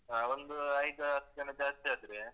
ಹಾ ಒಂದು ಐದು ಹತ್ತು ಜನ ಜಾಸ್ತಿ ಆದ್ರೆ.